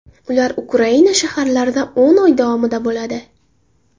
Ular Ukraina shaharlarida o‘n oy davomida bo‘ladi.